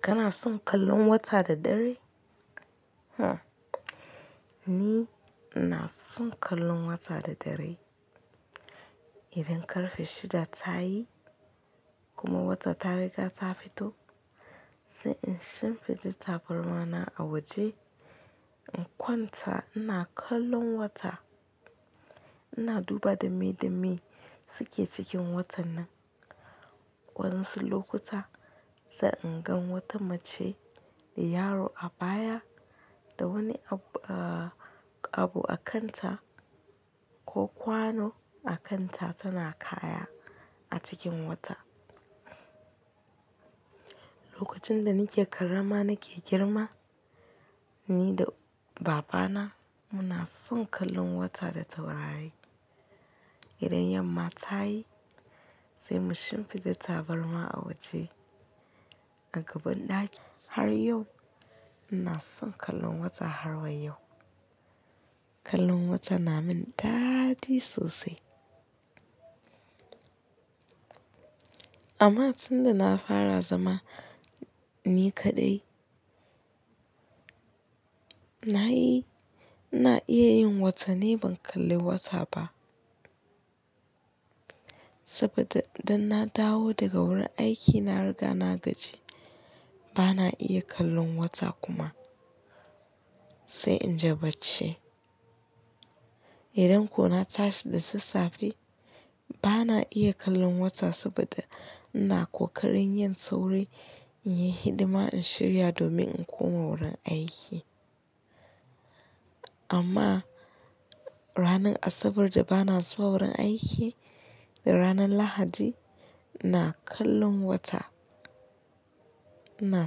Kana son kallon wata da dare? Huh. Ni ina son kallon wata da dare. Idan ƙarfe shida ta yi kuma wata ta riga ta fito, sai in shimfiɗe tabarma na a waje in kwanta ina kallon wata. Ina duba dame dame suke cikin watan nan. Waɗansu lokuta sai in gan wata mace da yaro a baya da wani abu a abu a kanta ko kwano a kanta tana kaya a cikin wata. Lokacin da nake ƙarama nake girma, ni da babana muna son kallon wata da taurari. Idan yamma ta yi sai mu shimfiɗe tabarma a waje a gaban ɗaki. Har yau ina son kallon wata har wa yau. Kallon wata na min daɗi sosai. Amma tun da na fara zama ni kaɗai, na yi-- na iya yin wata ni ban kalli wata ba. Saboda idan na dawo daga wurin aiki na riga na gaji, ba na iya kallon wata kuma sai in je bacci. Idan ko na tashi da safe, ba na iya kallon wata saboda ina ƙoƙarin yin sauri in yi hidima in shirya domin in koma wurin aiki. Amma ranar Asabar da ba na zuwa wurin aiki da ranar Lahadi, ina kallon wata. iNa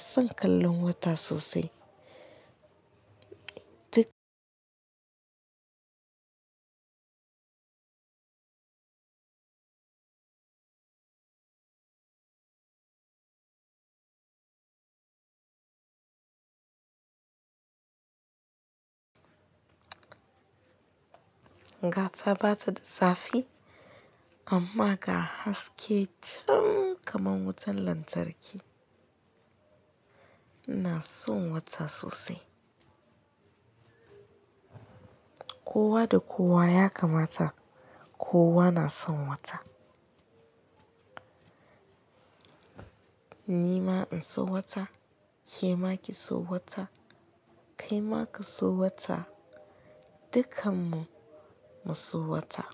san kallon wata sosai. Ga ta bata da zafi amma ga haske can kaman wutan lantarki. Ina son wata sosai. Kowa da kowa ya kamata kowa na son wata. Ni ma in so wata, ke ma ki so wata, kai ma ka so wata, dukkanmu mu so wata.